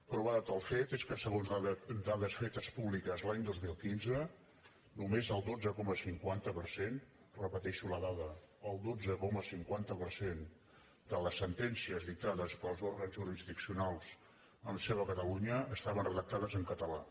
prova de tal fet és que segons dades fetes públiques l’any dos mil quinze només el dotze coma cinquanta per cent repeteixo la dada el dotze coma cinquanta per cent de les sentències dictades pels òrgans jurisdiccionals amb seu a catalunya estaven redactades en català